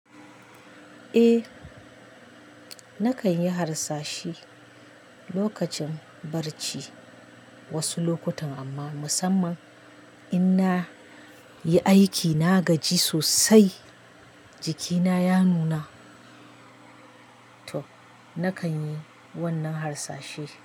Eh nakan yi harsashi lokacin barci wasu lokutan amma musamman in na yi aiki na gaji sosai jikina ya nuna to nakan yi wannan harsashe.